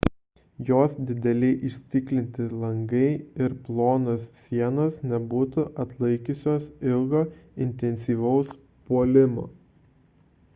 jos dideli įstiklinti langai ir plonos sienos nebūtų atlaikiusios ilgo intensyvaus puolimo